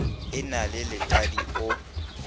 e na le letadi o